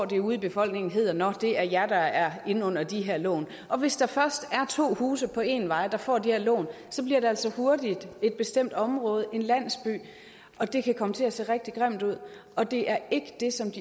det ude i befolkningen hedder nå det er jer der er inde under de her lån hvis der først er to huse på en vej der får de her lån så bliver det altså hurtigt et bestemt område en landsby og det kan komme til at se rigtig grimt ud og det er ikke det som